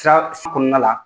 Taa su kɔnɔna la